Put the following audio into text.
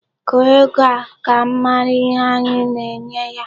Gụọ ego a! Ka m mara ihe anyi na-enye ya.